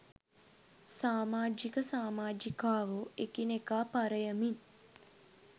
සාමාජික සාමාජිකාවෝ එකිනෙකා පරයමින්